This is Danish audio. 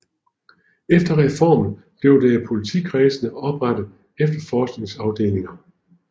Efter reformen blev der i politikredsene oprettet efterforskningsafdelinger